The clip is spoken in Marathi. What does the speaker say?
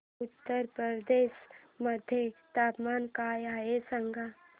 उत्तर प्रदेश मध्ये तापमान काय आहे सांगा